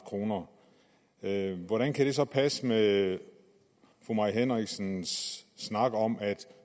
kr hvordan kan det så passe med fru mai henriksens snak om at